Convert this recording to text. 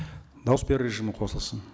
дауыс беру режимі қосылсын